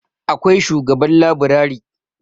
akwai shugaban laburari